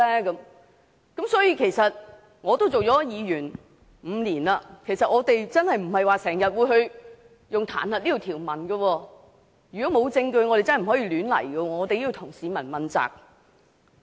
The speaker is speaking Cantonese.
我出任議員已有5年，我們真的不會經常引用彈劾這條文，如果沒有證據，我們真的不會亂來，我們也要向市民負責。